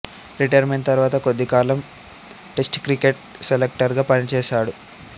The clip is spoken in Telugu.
రిటైర్మెంట్ తర్వాత కొద్ది కాలం టెస్ట్ క్రికెట్ సెలెక్టర్ గా పనిచేసాడు